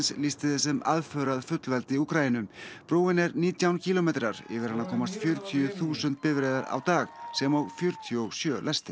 lýsti því sem aðför að fullveldi Úkraínu brúin er nítján kílómetrar yfir hana komast fjörutíu þúsund bifreiðar á dag sem og fjörutíu og sjö lestir